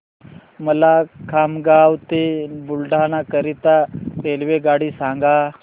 मला खामगाव ते बुलढाणा करीता रेल्वेगाडी सांगा